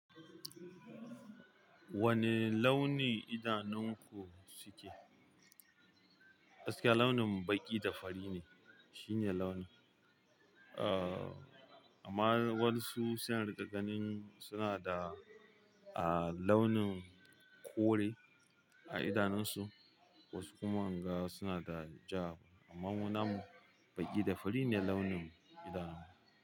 Wane launi idanunku suke? gAskiya launin baƙi da fari ne shine launin. Ahhh, amma wasu sai in rinƙa ganin suna da, ahhh, launin kore a idanunsu, wasu kuma in ga suna da ja. Amma mu namu baƙi da fari ne launin idanun mu.